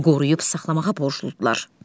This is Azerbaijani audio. qoruyub saxlamağa borcludular.